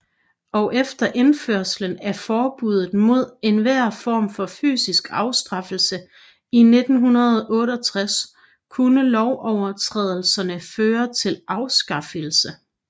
Og efter indførelsen af forbuddet mod enhver form for fysisk afstraffelse i 1968 kunne lovovertrædelserne føre til afskedigelse